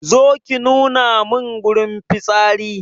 Zo ki nuna mun wurin fitsari